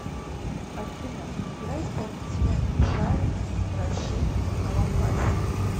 афина играй исполнителя мишари рашид алафаси